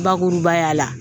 bakurubaya la